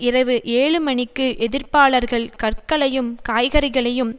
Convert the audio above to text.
இரவு ஏழு மணிக்கு எதிர்ப்பாளர்கள் கற்களையும் காய்கறிகளையும்